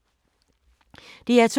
DR2